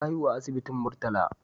Ta haihu a asibitin Murtala.